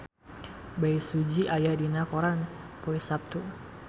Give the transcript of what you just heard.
Bae Su Ji aya dina koran poe Saptu